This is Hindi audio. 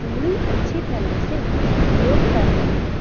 पूरी अच्छी तरह से योग कर रहे हैं।